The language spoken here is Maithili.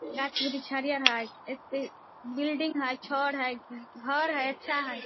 यह छेदी छड़ियां है एक बिल्डिंग है छड़ है घर है अच्छा है।